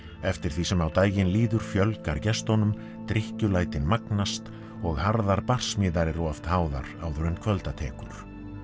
eftir því sem á daginn líður fjölgar gestunum magnast og harðar barsmíðar eru oft háðar áður en kvölda tekur